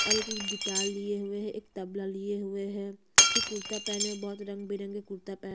और एक गिटार लिए हुए है एक तबला लिए हुए है फिर कुरता पहना है बहुत रंगबिरंग कुरता पहना है।